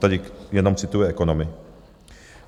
Tady jenom cituji ekonomy.